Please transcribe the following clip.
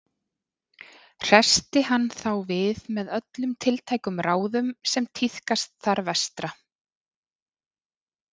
Hressti hann þá við með öllum tiltækum ráðum sem tíðkast þar vestra.